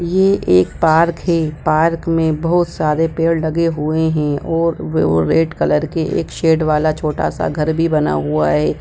यह एक पार्क है पार्क मे बहुत सारे पेड़ लगे हुए है और वे ए और रेड कलर के एक शेड वाला एक छोटा सा घर भी बना हुआ है।